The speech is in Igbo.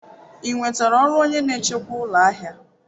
Ị nwetara ọrụ onye na-echekwa ụlọ ahịa?